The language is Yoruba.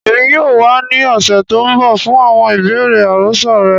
Èmi yoo wa ni ọ̀ṣẹ̀ to nbọ fún àwọn ibeere àròsọ rẹ.